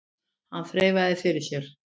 Hann þreifaði fyrir sér.